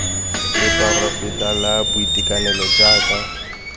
la poraefete la boitekanelo jaaka